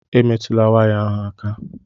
Emetụla waya ahụ aka!